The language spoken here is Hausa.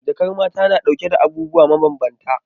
Jakar mata na dauke da abubuwa mabambanta.